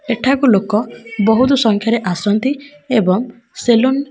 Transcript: ଏଠାକୁ ଲୋକ ବହୁତ୍ ସଂଖ୍ୟାରେ ଆସନ୍ତି ଏବଂ ସେଲୁନ --